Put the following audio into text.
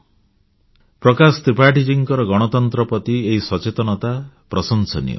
ଶ୍ରୀମାନ ପ୍ରକାଶ ତ୍ରିପାଠୀଙ୍କ ଗଣତନ୍ତ୍ର ପ୍ରତି ଏହି ସଚେତନତା ପ୍ରଶଂସନୀୟ